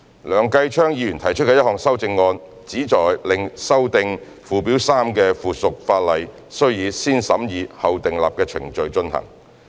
梁繼昌議員提出的1項修正案，旨在令修訂附表3的附屬法例須以"先審議後訂立"程序進行。